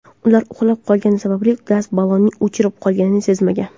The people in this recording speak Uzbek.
Ular uxlab qolgani sababli gaz ballonining o‘chib qolganini sezmagan.